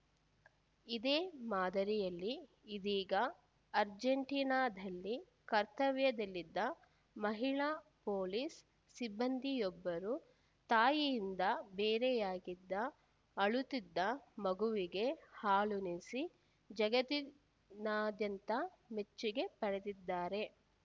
ಇದೇ ಮಾದರಿಯಲ್ಲಿ ಇದೀಗ ಅರ್ಜೆಂಟೀನಾದಲ್ಲಿ ಕರ್ತವ್ಯದಲ್ಲಿದ್ದ ಮಹಿಳಾ ಪೊಲೀಸ್‌ ಸಿಬ್ಬಂದಿಯೊಬ್ಬರು ತಾಯಿಯಿಂದ ಬೇರೆಯಾಗಿದ್ದ ಅಳುತ್ತಿದ್ದ ಮಗುವಿಗೆ ಹಾಲುಣಿಸಿ ಜಗತ್ತಿನಾದ್ಯಂತ ಮೆಚ್ಚುಗೆ ಪಡೆದಿದ್ದಾರೆ